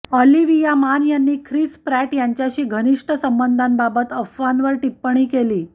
Olivia Munn यांनी Chris Pratt यांच्याशी घनिष्ठ संबंधांबाबत अफवांवर टिप्पणी केली